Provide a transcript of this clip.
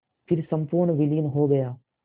फिर संपूर्ण विलीन हो गया